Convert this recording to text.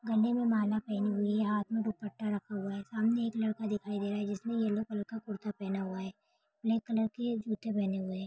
गले में माला पहनी हुई है हाथ में दुपट्टा रखा हुआ है सामने एक लड़का दिखाई दे रहा है जिसने येलो कलर का कुर्ता पहना है ब्लैक कलर के जुते पहेने हुए हैं।